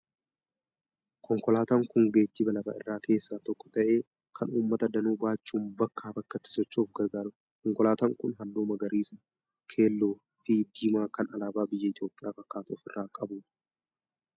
Konkolaataan kun geejjiba lafa irraa keessaa tokko ta'ee, kan uummata danuu baachuun bakkaa bakkatti socho'uuf gargaarudha. Konkolaataan kun halluu magariis, keelloo fi diimaa kan alaabaa biyya Itoophiyaa fakkaatu ofirraa qaba.